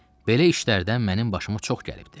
Belə işlərdən mənim başıma çox gəlibdir.